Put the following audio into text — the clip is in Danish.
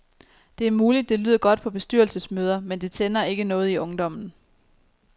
Det er muligt, det lyder godt på bestyrelsesmøder, men det tænder ikke noget i ungdommen.